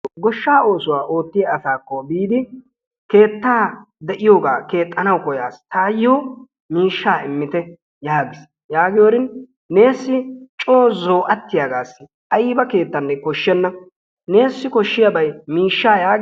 Goshshaa oosuwaa ootiyaa asaki biidi keettaa de'iyogaa keexanawu koyas, tayo miishshaa immite yaagiis. Yaagiyorin neesi co zo'atiyagassi ayba keettanne koshshenna neessi koshiyabay miishshaa yaagi...